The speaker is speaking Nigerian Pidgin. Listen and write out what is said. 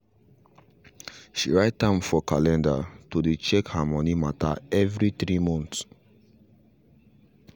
she write am for calendar to dey check her money matter every 3 month